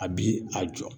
A bi a jɔ